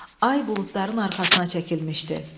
Ay buludların arxasına çəkilmişdi.